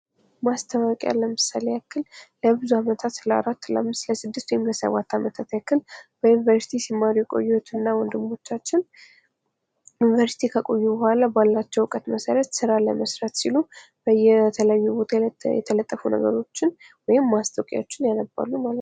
ማስተዋወቂያ ለምሳሌ ያክል ለብዙ ዓመታት ለአራት፣ ለአምስት ፣ለስድስት ወይም ለሰባት ዓመታት ያክል በዩኒቨርሲቲው ሲማሩ የቆዩ እና ወንድሞቻችን፤ ዩኒቨርሲቲ ከቆዩ በኋላ ባላቸው እውቀት መሰረት ሥራ ለመሥራት ሲሉ የተለጠፉ ነገሮችን ወይም ማስታወቂያዎቹ ያነባሉ ማለት ነው።